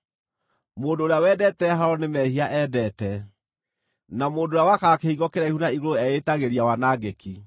Mũndũ ũrĩa wendete haaro nĩ mehia endete; na mũndũ ũrĩa wakaga kĩhingo kĩraihu na igũrũ eĩtagĩria wanangĩki.